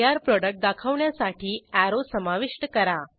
तयार प्रॉडक्ट दाखवण्यासाठी अॅरो समाविष्ट करा